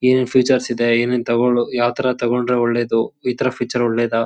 ಏನ್ ಏನ್ ಫೀಚರ್ಸ್ ಇದೆ ಏನ್ ಏನ್ ತಗೋಳೋ ಯಾವ ಥರ ತಗೊಂಡ್ರೆ ಒಳ್ಳೇದು ಈ ಥರ ಫೀಚರ್ ಒಳ್ಳೇದಾ.